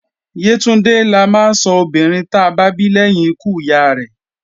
Yétúndé la máa sọ ọmọbìnrin ta bá bí lẹ́yìn ikú ìyá rẹ́